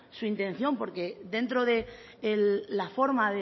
su intención porque dentro de la forma